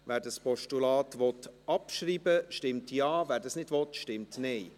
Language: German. Wer dieses Postulat abschreiben will, stimmt Ja, wer dies nicht will, stimmt Nein.